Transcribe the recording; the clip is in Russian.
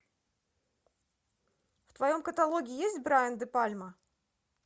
в твоем каталоге есть брайан де пальма